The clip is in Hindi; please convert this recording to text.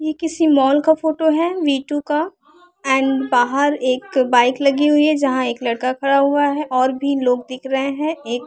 यह किसी मॉल का फोटो है वी टू का एंड बाहर एक बाइक लगी हुई है यहाँ एक लड़का खड़ा हुआ है और भी लोग दिख रहे हैं एक--